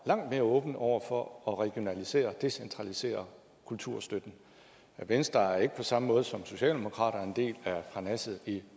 langt mere åben over for at regionalisere decentralisere kulturstøtten venstre er ikke på samme måde som socialdemokraterne en del af parnasset